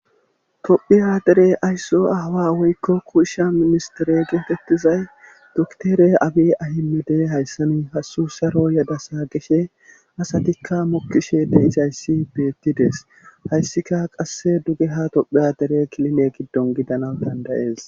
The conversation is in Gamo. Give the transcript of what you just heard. tophi aderey aysso aawa woykko kuushsha ministere geetettizay doktere abi ahimede hayssani hasu saro yada saa geshe asatikka mokkishe deizhayssi beettides hayssika qasse duge ha tophe adere kiline giddon gidana dandayees